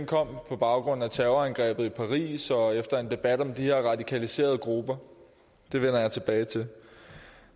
kom på baggrund af terrorangrebet i paris og efter en debat om de her radikaliserede grupper det vender jeg tilbage til